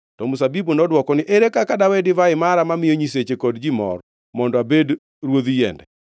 “To mzabibu nodwoko ni, ‘Ere kaka dawe divai mara mamiyo nyiseche kod ji mor mondo abed ruodh yiende?’